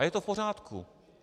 A je to v pořádku.